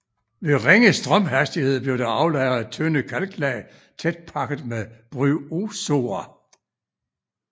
Ved ringe strømhastighed blev der aflejret tynde kalklag tæt pakket med bryozoer